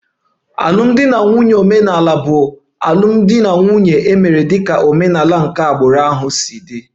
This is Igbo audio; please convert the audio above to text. Alụmdi na nwunye omenala bụ alụmdi na nwunye e mere dịka omenala nke agbụrụ si dị